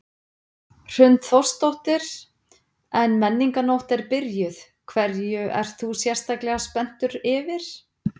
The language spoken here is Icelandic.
Hrund Þórsdóttir: En Menningarnótt er byrjuð, hverju ert þú sérstaklega spenntur yfir?